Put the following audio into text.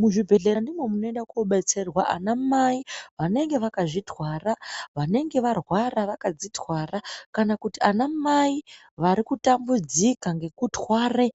Muzvubhendlera ndimwo munoenda koobetserwa anamai vanenge vakazvitwara. Vanenge varwara vakadzitwara. Kana kuti anamai vari kutambudzika ngekutware